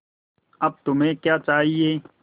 अब तुम्हें क्या चाहिए